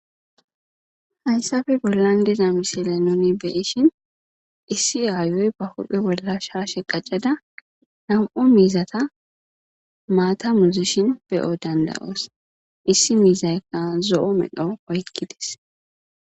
Haysafe bollan deza misile noni beyishin issi aayoy ba wuphe bolla shaashe qacada nam'u miizata maata muzishin beyo dandayoos issi miizaykka zo'o medho oykkides